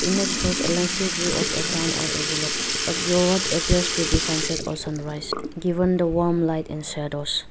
image shows a landscape view of a town or a village at view what appears to be sunset or sunrise given the warm light and shadows.